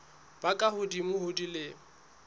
ba ka hodimo ho dilemo